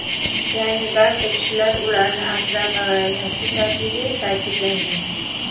Ya’ni barcha kishilar ularni asrab-avaylashi shartligi ta’kidlangan.